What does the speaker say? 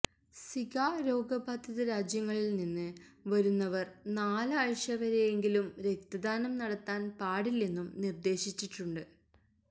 Zika രോഗബാധിത രാജ്യങ്ങളില്നിന്ന് വരുന്നവര് നാലാഴ്ചവരെയെങ്കിലും രക്തദാനം നടത്താന് പാടില്ലെന്നും നിര്ദേശിച്ചിട്ടുണ്ട്